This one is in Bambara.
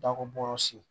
Dakɔbɔyɔrɔ si